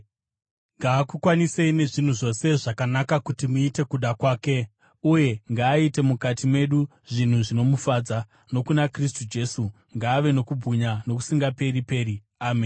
ngaakukwanisei nezvinhu zvose zvakanaka kuti muite kuda kwake, uye ngaaite mukati medu zvinhu zvinomufadza, nokuna Kristu Jesu, ngaave nokubwinya nokusingaperi-peri. Ameni.